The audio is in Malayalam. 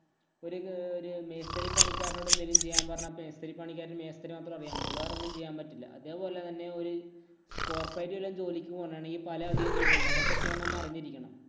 ഒരു മേഒരു മേസ്തിരി പണിക്കാരനോട് എന്തേലും ചെയ്യാന്‍ പറഞ്ഞാ മേസ്തിരി പണിക്കാരന് മേസ്തിരി മാത്രേ അറിയാന്‍ പറ്റുള്ളൂ. വേറൊന്നും ചെയ്യാന്‍ പറ്റില്ല. അതേപോലെ തന്നെ ഒരു corporate ഇലെ ജോലിക്ക് പോവുവാണെങ്കി പല അധികം ജോലിയുണ്ട്. അതൊക്കെ ചെയ്യാന്‍ നമ്മൾ അറിഞ്ഞിരിക്കണം.